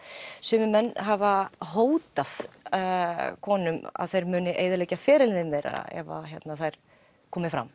sumir menn hafa hótað konum að þeir muni eyðileggja ferilinn þeirra ef þær komi fram